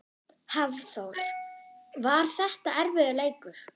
Hafþór: Var þetta erfiður leikur?